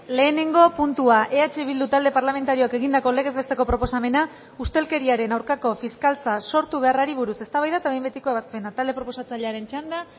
lehenengo puntua eh bildu talde parlamentarioak egindako legez besteko proposamena ustelkeriaren aurkako fiskaltza sortu beharrari buruz eztabaida eta behin betiko ebazpena talde proposatzailearen txanda